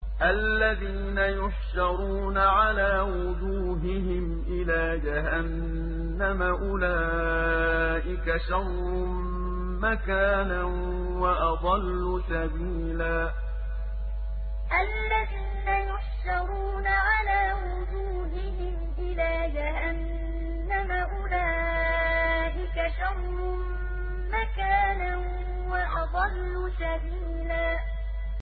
الَّذِينَ يُحْشَرُونَ عَلَىٰ وُجُوهِهِمْ إِلَىٰ جَهَنَّمَ أُولَٰئِكَ شَرٌّ مَّكَانًا وَأَضَلُّ سَبِيلًا الَّذِينَ يُحْشَرُونَ عَلَىٰ وُجُوهِهِمْ إِلَىٰ جَهَنَّمَ أُولَٰئِكَ شَرٌّ مَّكَانًا وَأَضَلُّ سَبِيلًا